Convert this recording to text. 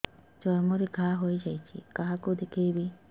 ଚର୍ମ ରେ ଘା ହୋଇଯାଇଛି କାହାକୁ ଦେଖେଇବି